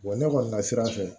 ne kɔni ka sira fɛ